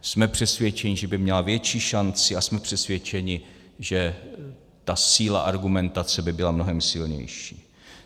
Jsme přesvědčeni, že by měla větší šanci, a jsme přesvědčeni, že ta síla argumentace by byla mnohem silnější.